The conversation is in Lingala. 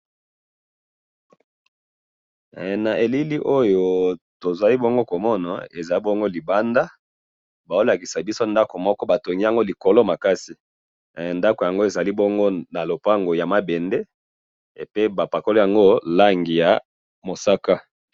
Na moni ndako pembeni na balabala eza nakati ya lopango ya mabende na langi ya mosaka